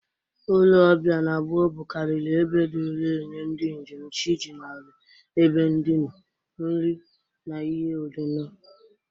Ụlọ ọbịa na gboo bụkariri ebe dịri enye ndị njem chi jinahụrụ ebe ndịna, nri na ihi ọṅụṅụ.